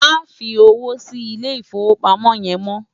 Má fi ówó si Ilé Ifówópámò yèn mò